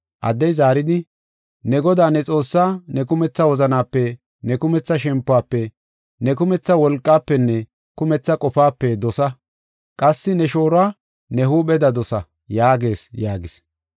Addey zaaridi, “ ‘Ne Godaa ne Xoossaa, ne kumetha wozanape, ne kumetha shempofe, ne kumetha wolqaafenne ne kumetha qofaape dosa. Qassi ne shooruwa ne huupheda dosa’ yaagees” yaagis.